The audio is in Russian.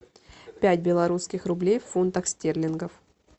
пять белорусских рублей в фунтах стерлингов